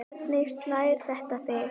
Hvernig slær þetta þig?